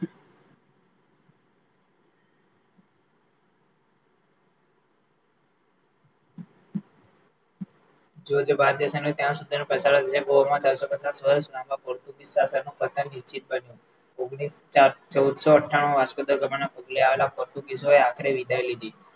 ભારતીય ગોવામાં ચારસો પચાસ વર્ષ ના પોર્ટુગીઝ સાશન ચૌદસો અઠાણુંમાં વાસ્કો દ ગામના પગલે આવેલા આખરે વિદાય લીધી